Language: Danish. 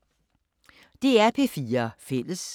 DR P4 Fælles